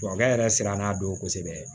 Tubabukɛ yɛrɛ siran n'a don kosɛbɛ